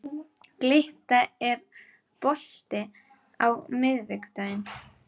Glytta, er bolti á miðvikudaginn?